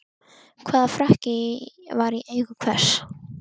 Hvaða frakki var í eigu hvers?